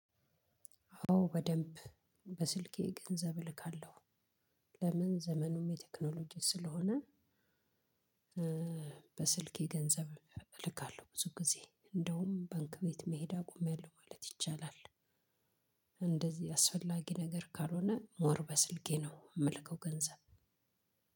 አዎ በደንብ በስልኬ ገንዘብ እልካለሁ፤ ለምን ዘመኑም የቴክኖሎጂ ስለሆነ በስልኬ ገንዘብ እልካለሁ ብዙ ጊዜ፤ እንደውም ባንክ ቤት መሄድ አቁሚያለሁ ማለት ይቻላል። እንደዚህ አስፈላጊ ነገር ካልሆነ ሞር በስልኬ ነው የምልከው ገንዘብ